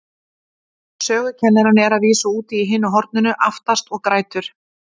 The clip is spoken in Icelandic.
Sögukennarinn er að vísu úti í hinu horninu, aftast, og grætur.